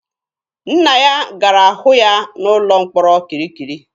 Nna ya gara hụ ya n'ụlọ mkpọrọ kirikiri.